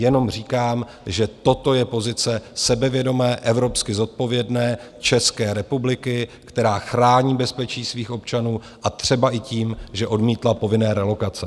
Jenom říkám, že toto je pozice sebevědomé, evropsky zodpovědné České republiky, která chrání bezpečí svých občanů, a třeba i tím, že odmítla povinné relokace.